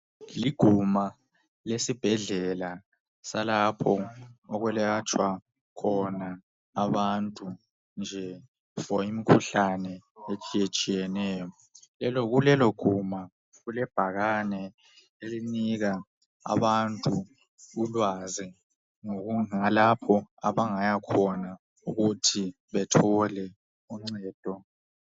Liguma lesibhedlela salapho okwelatshwa khona abantu nje, imkhuhlane etshiyetshiyeneyo. Kulelo guma kulebhakane elinika abantu ulwazi ngalapho abangayakhona ukuthi bethole uncedo.